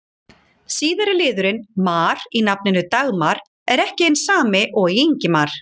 Síðari liðurinn-mar í nafninu Dagmar er ekki hinn sami og í Ingimar.